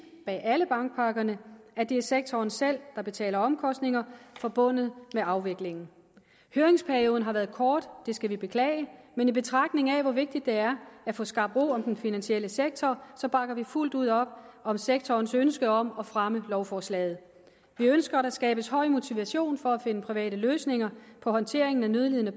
bag alle bankpakkerne at det er sektoren selv der betaler omkostninger forbundet med afviklingen høringsperioden har været kort og det skal vi beklage men i betragtning af hvor vigtigt det er at få skabt ro om den finansielle sektor bakker vi fuldt ud op om sektorens ønske om at fremme lovforslaget vi ønsker at der skabes høj motivation for at finde private løsninger på håndteringen af nødlidende